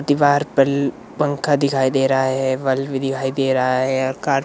दीवार पर पंखा दिखाई दे रहा है बल्ब भी दिखाई दे रहा है और कार --